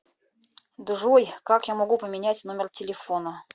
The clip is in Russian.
джой как я могу поменять номер телефона